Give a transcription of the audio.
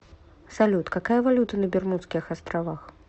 салют какая валюта на бермудских островах